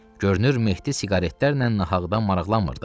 Görünür Mehdi siqaretlərlə nahaqdan maraqlanmırdı.